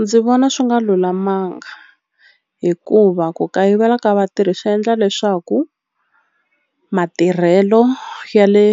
Ndzi vona swi nga lulamanga hikuva ku kayivela ka vatirhi swi endla leswaku matirhelo ya le